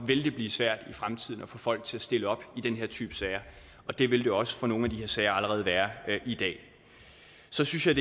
vil det blive svært i fremtiden at få folk til at stille op i den her type sager og det vil det også for nogle af de her sager allerede være i dag så synes jeg